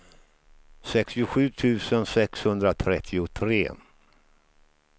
sextiosju tusen sexhundratrettiotre